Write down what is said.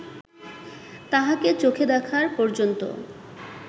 তাহাকে চোখে দেখার পর্যন্ত